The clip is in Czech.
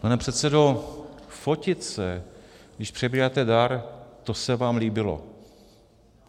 Pane předsedo, fotit se, když přebíráte dar, to se vám líbilo.